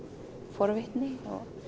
forvitni og